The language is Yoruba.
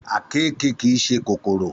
Àkekèé kì í ṣe kòkòrò